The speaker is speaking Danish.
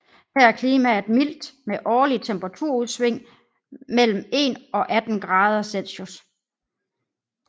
Her er klimaet mildt med årlige temperaturudsving mellem 1 og 18 grader C